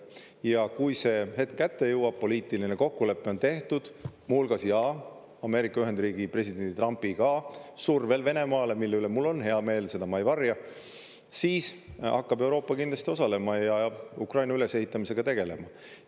Ja kui see hetk kätte jõuab, poliitiline kokkulepe on tehtud, muu hulgas jaa, Ameerika Ühendriikide presidendi Trumpiga, survel Venemaale – mille üle mul on hea meel, seda ma ei varja –, siis hakkab Euroopa kindlasti osalema ja Ukraina ülesehitamisega tegelema.